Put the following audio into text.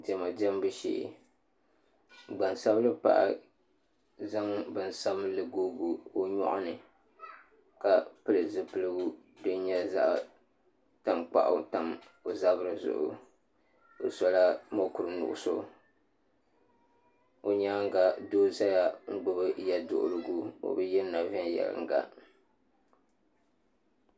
Diɛma diɛmbu shee gbansabinli paɣa zaɣ bin sabinli googi o nyoɣa ni ka pili zipiligu din nyɛ zaɣ tankpaɣu tam o zabiri zuɣu o sola mokuru nuɣso o nyaanga doo ʒɛya n gbubi yɛduɣurigu o bi yirina viɛnyɛlinga